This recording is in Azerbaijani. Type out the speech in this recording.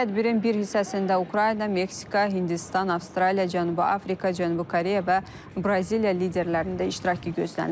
Tədbirin bir hissəsində Ukrayna, Meksika, Hindistan, Avstraliya, Cənubi Afrika, Cənubi Koreya və Braziliya liderlərinin də iştirakı gözlənilir.